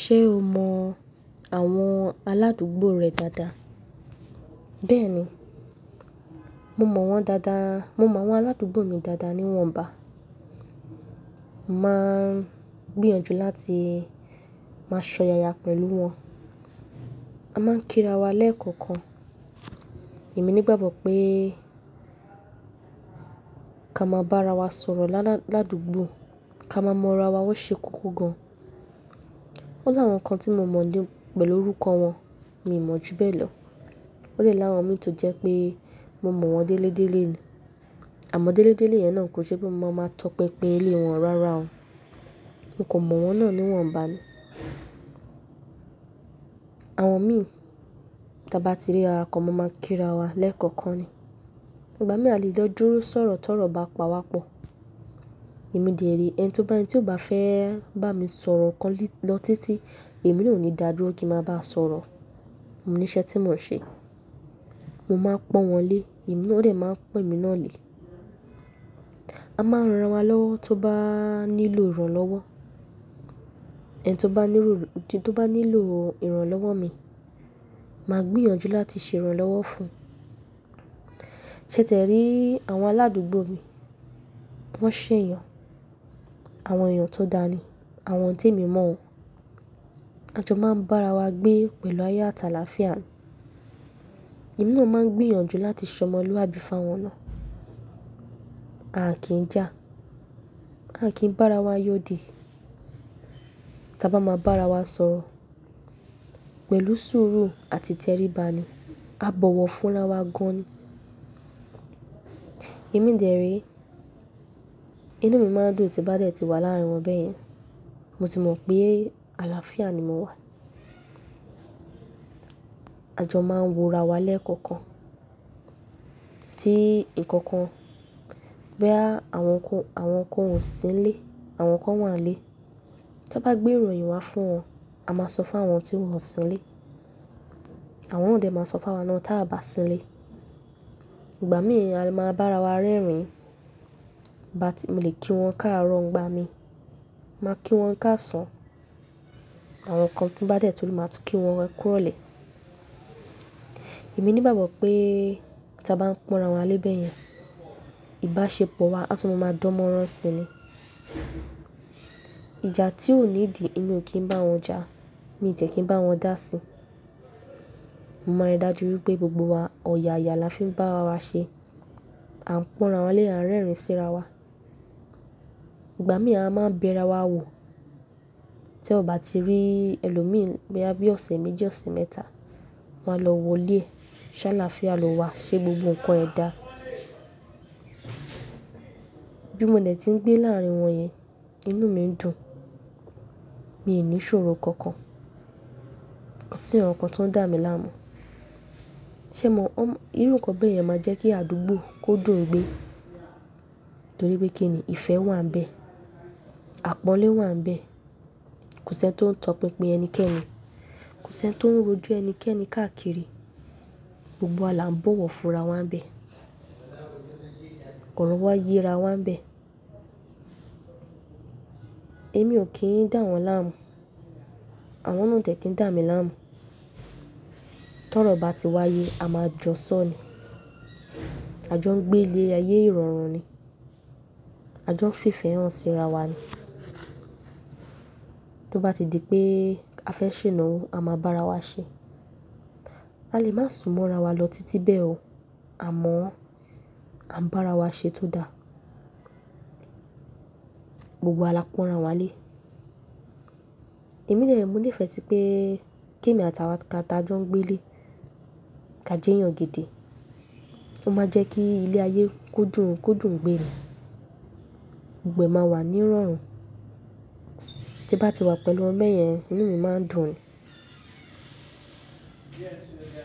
Ṣé o mọ àwọn aládùúgbò rẹ dáadáa? Bẹ́ẹ̀ni, mo mọ wọ́n dáadáa. Mo mọ àwọn aládùúgbò mi dáadáa níwọ̀nba. Máa gbìyànjú láti máa ṣọ̀yàya pẹ̀lú wọn. A máa ń kírawá lẹ́ẹ̀kọ̀kan. Èmi nígbàgbọ́ pé ká máa bá ara wa sọ̀rọ̀ láládùúgbò, ká máa mọ ara wa wọ́n ṣe kókó gan. O láwọn nǹkan tí mo mọ̀ lé pẹ̀lú orúkọ wọn, mi ò mọ̀ ju bẹ́ẹ̀ lọ. O dẹ́ láwọn mi tó jẹ́ pé mo mọ̀ wọ́n délé délé ni. Àmọ́ délé délé yẹn náà kò jẹ́ pé mo máa tọpinpin ilé wọn rara o. Mo kò mọ̀ wọ́n náà níwọ̀nba ni. Àwọn mi tí a bá ti rí ra wa kan máa máa kírawá lẹ́ẹ̀kọ̀kan ni. Ìgbà mí ì bá lè lọ dúró sọ̀rọ̀ tọ̀rọ̀ bá pawá pọ̀. Èmi dẹ̀ re ẹni tó bá yẹn tí ó bá fẹ́ bá mi sọ̀rọ̀ kan lọ títí, èmi ò ní dà dúró kí ń máa bá a sọ̀rọ̀. Mo ní iṣẹ́ tí mò ń ṣe. Mo máa pọ́n wọ́n lé, wọ́n ò dẹ̀ máa pọ́n emi náà lé. A máa ń ran wa lọ́wọ́ tó bá nílò ìrànlọ́wọ́. Ẹni tó bá nílò ìrànlọ́wọ́ mi, màá gbìyànjú láti ṣe ìrànlọ́wọ́ fún un. Tétẹ̀ rí àwọn aládùúgbò mi, wọ́n ṣẹ̀yàn, àwọn èèyàn tó dani, àwọn tèmi mọ́ wọn. A jọ máa ń bá ara wa gbé pẹ̀lú ayọ̀ àtàlàfíà. Èmi náà máa ń gbìyànjú láti ṣọmọlúwàbí fáwọn náà. A kì í jà, a kì í bá ara wa yódì. Tí a bá máa bá ara wa sọ̀rọ̀ pẹ̀lú sùúrù àti tẹríba ni, a bọ̀wọ̀ fúnra wa gan ni. Èmi dẹ̀ rẹ̀, inú mi máa ń dùn tí bá dẹ̀ ti wà láàrin wọn bẹ́ẹ̀ yẹn. Mo ti mọ̀ pé àlàáfíà ni mo wà. A jọ máa ń wọra wa lẹ́ẹ̀kọ̀kan. Tí nǹkan bóyá, àwọn kan wọ́n sì ń lé, àwọn kan wọ́n à lé. Tọ́ bá gbé ìròyìn wá fún wọn, a máa sọ fún àwọn tí wọ́n sì ń lé. Àwọn nà dẹ̀ máa sọ fún awa náà tí a bá sì ń lé. Ìgbà míì a lè máa bá ara wa rẹ́rìn-ín. Mo lè kí wọn káàárọ̀ ń gba mi. Màá kí wọn káàsán. Àwọn nǹkan tí bá dẹ̀ tó lè máa tún kí wọn ẹ kúròlè. Èmi nígbàgbọ́ pé tí a bá ń pọ́nra wa lé bẹ́ẹ̀ yẹn, ìbáṣepọ̀ wa á tún máa dánmọ́rán si ni. Ìjà tí ò ní ìdí èmi o kì í bá wọn jà, mí tí ẹ kí n bá wọn dà si. Mo mọ̀ rí dájú wípé gbogbo wa ọ̀yàya láfiún bá ara wa ṣe. À ń pọ́nra wa lé, à ń rẹ́rìn-ín sí ara wa. Ìgbà mí à máa ń bẹ ra wa wò. Tí o bá ti rí ẹlòmíì bóyá bíi ọ̀sẹ̀ méjì, ọ̀sẹ̀ mẹ́ta, wọn a lọ wò ilé ẹ, ṣe láàáfíà lọ́ wa, ṣé gbogbo nǹkan ẹ dá? Bí mo ní è tí ń gbé láàrin wọn yẹn, inú mi ń dùn. Mi ò ní ṣòro kankan, ko sí nkan kan tó ń dà mí láàmú. Ṣé mo mọ̀? Irú nǹkan bẹ́ẹ̀ yẹn máa ń jẹ́ kí àdúgbò kó dùn gbé. Nítorí pé kí ni ìfẹ́ wà níbẹ̀. Àpọ́nlé wà níbẹ̀. Kò sí ẹni tó ń tọpinpin ẹnikẹ́ni. Kò sí ẹni tó ń rò jọ ẹnikẹ́ni káàkiri. Gbogbo wa là ń bọ̀wọ̀ fúnra wa níbẹ̀. Ọrọ̀ wa yẹra wa níbẹ̀. Èmi ò kí ń dà wọ́n láàmú. Àwọn náà o dẹ̀ kí n dà mí láàmú. Tọ́rọ̀ bá ti wáyé, a máa jọ sọ́n ni. A jọ ń gbé lé ayé ìrọ̀rùn ni. A jọ ń fífẹ́ hàn sí ara wa ni. To bá ti di pé a fẹ́ ṣenawo, a máa bá ara wa ṣe. A lè máa súnmọ́ ra wa lọ títí bẹ́ẹ̀ o, àmọ́ à ń bá ara wa ṣe tó da. Gbogbo wa là ń pọ́nra wa lé. Èmi dẹ̀ re mo nífẹ̀ẹ́ fẹ́ sí pé kí èmi àti àwọn kan tí a jọ ń gbé lé, ká jẹ́yàn gidi. Ó máa ń jẹ́ kí ilé ayé kó dùn, kó dùn gbé ni. Gbogbo ẹ máa wà ní ìrọ̀rùn. Tí n bá ti wà pẹ̀lú wọn bẹ́yẹn, inú mi máa ń dùn ni.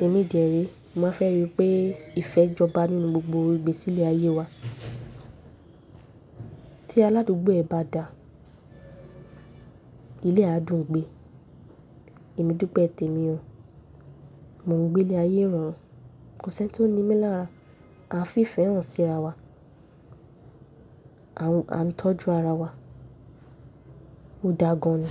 Èmi dẹ̀ re, mo máa fẹ́ rí i pé ìfẹ́ jọba nínú gbogbo igbesí ilé ayé wa. Tí aládùúgbò ẹ bá dà, ilé á dùn gbé. Èmi dúpẹ́ tèmi o. Mo ń gbé lé ayé ìrọ̀rùn. Kò sí ẹni tó ní ìmí lára. A ń fífẹ́ hàn sí ara wa. À ń tọ́jú ara wa. Ó dáa gan ni.